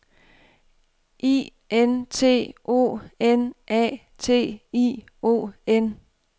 I N T O N A T I O N